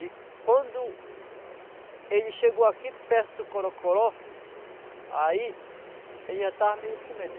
E quando ele chegou aqui perto do corocoró, aí ele já estava meio com medo.